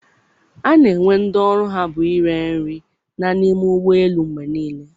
A na-enwe ndị ọrụ ha bụ ire nri na n'ime ụgbọ elu mgbe niile.